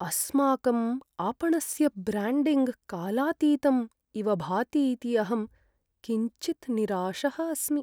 अस्माकम् आपणस्य ब्र्याण्डिङ्ग् कालातीतम् इव भातीति अहं किञ्चित् निराशः अस्मि।